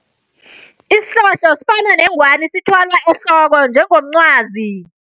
Isihlohlo sifana nengwani sithwalwa ehloko njengomcwazi.